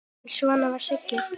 En svona var Sigga.